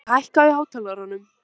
Sigurlína, hækkaðu í hátalaranum.